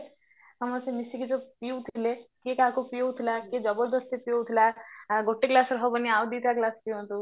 ସମସ୍ତେ ମିସିକି ଯୋଉ ପିଉଥିଲେ କିଏ କାହାକୁ ପିଅଉଥିଲା କିଏ ଜବରଦସ୍ତି ପିଅଉଥିଲା ଆ ଗୋଟେ ଗ୍ଲାସ ହବନି ଆଉ ଦିଟା glass ଦିଅନ୍ତୁ